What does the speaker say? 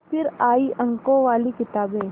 फिर आई अंकों वाली किताबें